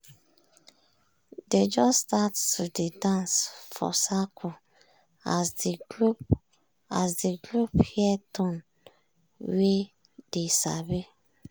dey just start to dey dance for circle as de group as de group hear tune wey dey sabi.